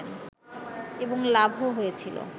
এবং লাভও হয়েছিল